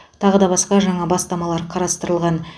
таға да басқа жаңа бастамалар қарастырылған